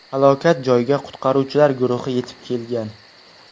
Halokat joyiga qutqaruvchilar guruhi yetib kelgan.